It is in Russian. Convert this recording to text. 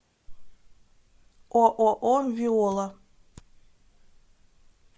ооо виола